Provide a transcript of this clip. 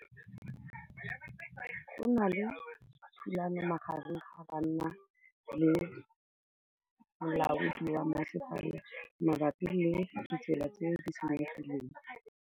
Go na le thulanô magareng ga banna le molaodi wa masepala mabapi le ditsela tse di senyegileng.